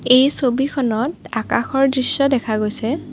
এই ছবিখনত আকাশৰ দৃশ্য দেখা গৈছে।